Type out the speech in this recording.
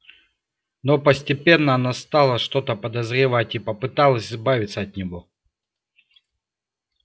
но постепенно она стала что-то подозревать и попыталась избавиться от него